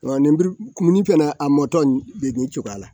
Ɔ lenburukumuni fana a mɔtɔ bɛ nin cogoya la